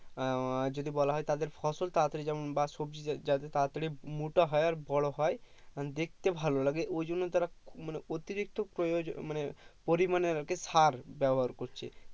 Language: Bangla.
আহ যদি বলা হয় তাদের ফসল তাড়া তাড়ি যেমন বা সবজি যাতে তারা তারই মোটা হয় আর বড়ো হয় আর দেখতে ভালো লাগে ওই জন্য তারা মানে অতিরিক্ত প্রয়োজন মানে পরিমানে সার ব্যবহার করছে ।